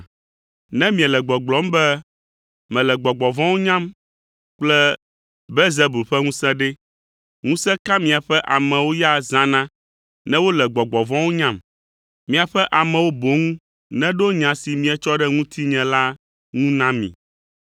Ne miele gbɔgblɔm be mele gbɔgbɔ vɔ̃wo nyam kple Belzebul ƒe ŋusẽ ɖe, ŋusẽ ka miaƒe amewo ya zãna ne wole gbɔgbɔ vɔ̃wo nyam? Miaƒe amewo boŋ neɖo nya si mietsɔ ɖe ŋutinye la ŋu na mi.